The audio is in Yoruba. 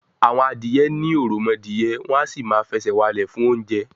àwọn adìyẹ ní òròmọdìyẹ, wọn à sì máa fẹsẹ̀ walẹ̀ fún oúnjẹ